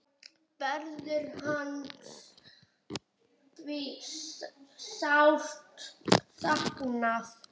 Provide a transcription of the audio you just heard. Verður hans því sárt saknað.